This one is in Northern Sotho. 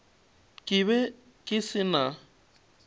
ke be ke se na